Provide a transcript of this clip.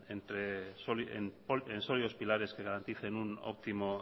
en sólidos pilares que garanticen un óptimo